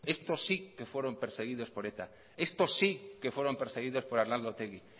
estos sí que fueron perseguidos por eta estos sí que fueron perseguidos por arnaldo otegi